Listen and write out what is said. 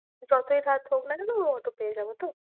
যতই রাত হোক না কেন অটো পেয়ে যাবো তো?